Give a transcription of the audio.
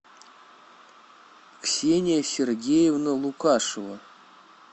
ксения сергеевна лукашева